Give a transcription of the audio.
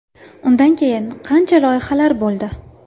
Undan keyin qancha loyihalar bo‘ldi.